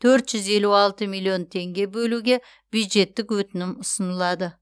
төрт жүз елу алты миллион теңге бөлуге бюджеттік өтінім ұсынылады